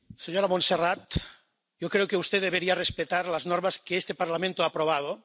Señora Montserrat, yo creo que usted debería respetar las normas que este Parlamento ha aprobado.